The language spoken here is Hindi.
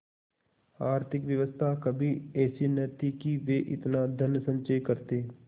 आर्थिक व्यवस्था कभी ऐसी न थी कि वे इतना धनसंचय करते